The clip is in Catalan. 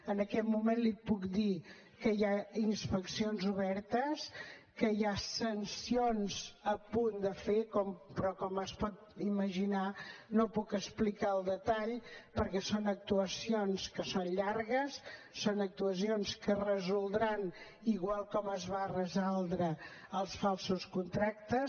en aquest moment li puc dir que hi ha inspeccions obertes que hi ha sancions a punt de fer però com s’ho pot imaginar no puc explicar el detall perquè són actuacions que són llargues són actuacions que es resoldran igual com es van resoldre els falsos contractes